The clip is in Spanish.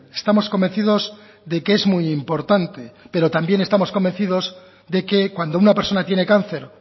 estamos convencidos de que es muy importante pero también estamos convencidos de que cuando una persona tiene cáncer